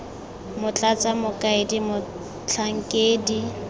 x motlatsa mokaedi x motlhankedi